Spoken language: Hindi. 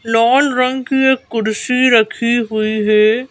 लाल रंग की एक कुर्सी रखी हुई हैं।